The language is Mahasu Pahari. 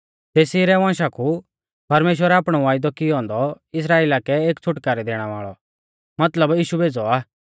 तेसी रै वंशा कु परमेश्‍वरै आपणौ वायदौ कियौ औन्दौ इस्राइला कै एक छ़ुटकारै दैणै वाल़ौ मतलब यीशु भेज़ौ आ